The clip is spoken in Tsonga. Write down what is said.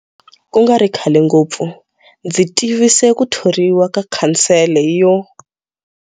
Ku nga ri khale ngopfu, ndzi tivise ku thoriwa ka Khansele yo.